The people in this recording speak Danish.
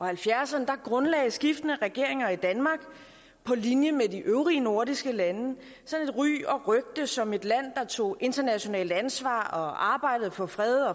halvfjerdserne grundlagde skiftende regeringer i danmark på linje med de øvrige nordiske lande et ry og rygte som et land der tog internationalt ansvar og arbejdede for fred